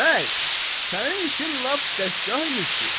Bəy, sənin işin lap dəstgah imiş ki!